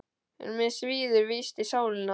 En mig svíður víst í sálina.